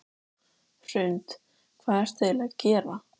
Hrund: Hvað ertu eiginlega að gera?